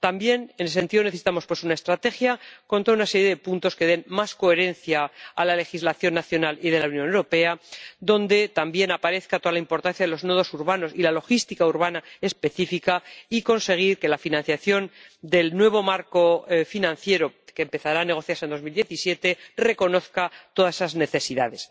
También en ese sentido necesitamos una estrategia con toda una serie de puntos que den más coherencia a la legislación nacional y de la Unión Europea, donde también aparezca toda la importancia de los nodos urbanos y la logística urbana específica, y conseguir que la financiación del nuevo marco financiero que empezará a negociarse en 2017 reconozca todas esas necesidades.